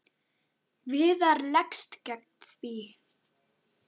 Viðar leggst gegn því.